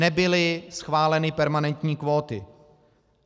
Nebyly schváleny permanentní kvóty.